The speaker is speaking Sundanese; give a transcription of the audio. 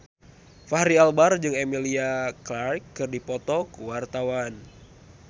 Fachri Albar jeung Emilia Clarke keur dipoto ku wartawan